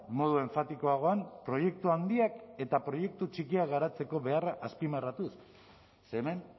modu enfatikoagoan proiektu handiak eta proiektu txikiak garatzeko beharra azpimarratuz ze hemen